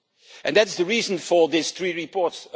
And that is the reason for these three reports.